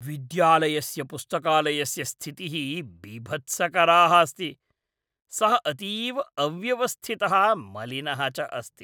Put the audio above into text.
विद्यालयस्य पुस्तकालयस्य स्थितिः बिभत्सकरा अस्ति; सः अतीव अव्यवस्थितः मलिनः च अस्ति।